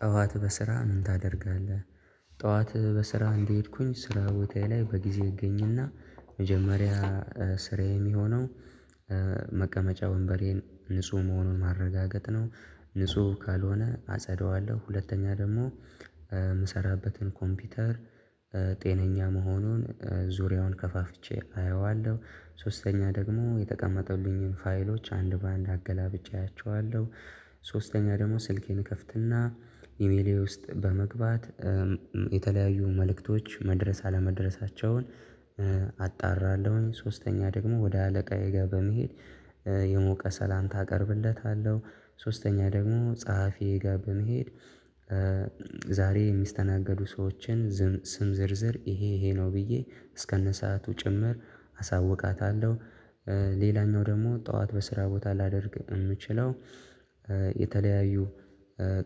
ጠዋት በስራ ምን ታደርጋለህ? ጠዋት በስራ እንደሄድኩኝ ስራ ቦታዬ ላይ በጊዜ እገኝና መጀመሪያ ስራዬ የሚሆነው መቀመጫ ወንበሬን ንጹህ መሆኑን ማረጋገጥ ነው። ንጹህ ካልሆነ አጸደዋለሁ ሁለተኛ ደግሞ የምሰራበትን ኮምፒውተር ጤነኛ መሆኑን ዙሪያውን ከፋፍቼ አየዋለሁ። ሶስተኛ ደግሞ የተቀመጡልኝን ፋይሎች አንድ በአንድ አገላብጬ አያቸዋለሁ። ሶስተኛ ደግሞ ስልኬን እከፍትና ኢሜሌ ውስጥ በመግባት የተለያዩ መልእክቶች መድረስ አለመድረሳቸውን አጣራለሁኝ። ሶስተኛ ደግሞ ወደ አለቃዬ ጋር በመሄድ የሞቀ ሰላምታ አቀርብለታለሁ። ሶስተኛ ደግሞ ጸሐፊዬ ጋር በመሄድ ዛሬ የሚስተናገዱ ሰዎችን ስም ዝርዝር ይሄ ይሄ ነው ብዬ እስከነ ሰዓቱ ጭምር አሳውቃታለሁ። ሌላኛው ደግሞ ጠዋት በስራ ቦታ ላደርግ የምችለው የተለያዩ